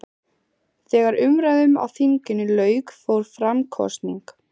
Þegar umræðum á þinginu lauk fór fram kosning.